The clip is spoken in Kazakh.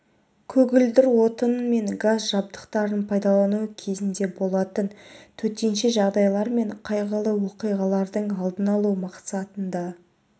көгілдір отын мен газ жабдықтарын пайдалану кезінде болатын төтенше жағдайлар мен қайғылы оқиғалардың алдын алу мақсатында